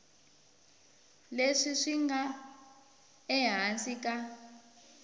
leswi swi nga ehansi ka